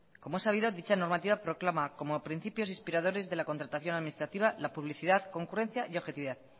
como es sabido dicha normativa proclama como a principios inspiradores de la contratación administrativa la publicidad concurrencia y objetividad